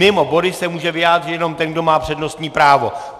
Mimo body se může vyjádřit jenom ten, kdo má přednostní právo.